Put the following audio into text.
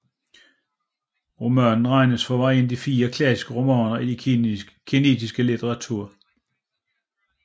Romanen regnes for en af de De fire klassiske romaner i kinesisk litteratur